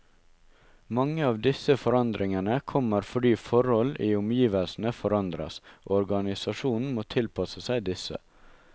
Mange av disse forandringene kommer fordi forhold i omgivelsene forandres, og organisasjonen må tilpasse seg disse.